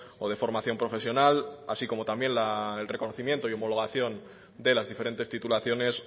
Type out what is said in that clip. o de formación profesional así como también el reconocimiento y homologación de las diferentes titulaciones